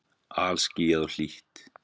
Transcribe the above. Alskýjað og hlýtt.